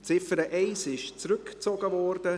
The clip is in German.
Die Ziffer 1 wurde zurückgezogen.